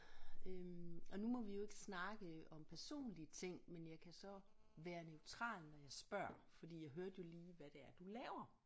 Øh og nu må vi jo ikke snakke om personlige ting men jeg kan så være neutral når jeg spørger fordi jeg hørte jo lige hvad det er du laver